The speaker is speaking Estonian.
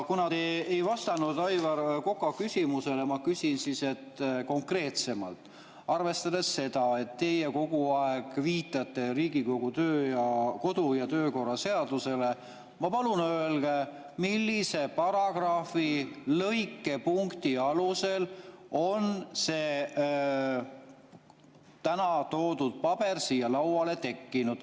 Kuna te ei vastanud Aivar Koka küsimusele, siis ma küsin konkreetsemalt: arvestades seda, et teie kogu aeg viitate Riigikogu kodu‑ ja töökorra seadusele, palun öelge, millise paragrahvi lõike ja punkti alusel on see täna siia toodud paber siia lauale tekkinud.